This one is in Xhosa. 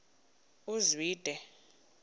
uzwide